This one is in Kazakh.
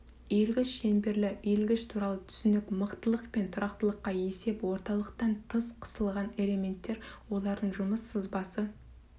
иілгіш шеңберлі иілгіш туралы түсінік мықтылық пен тұрақтылыққа есеп орталықтан тыс қысылған элементтер олардың жұмыс сызбасы